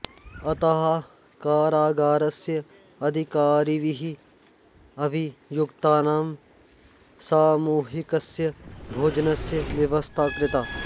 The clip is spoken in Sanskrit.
अतः कारागारस्य अधिकारिभिः अभियुक्तानां सामूहिकस्य भोजनस्य व्यवस्था कृता